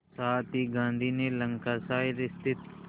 साथ ही गांधी ने लंकाशायर स्थित